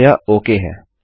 अतः यह ओक है